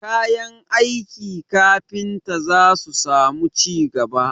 Kayan aiki kafinta za su samu ci gaba